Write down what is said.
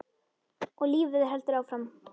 Og lífið heldur áfram.